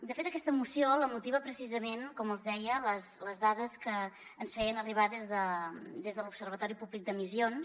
de fet aquesta moció la motiven precisament com els hi deia les dades que ens feien arribar des de l’observatori públic d’emissions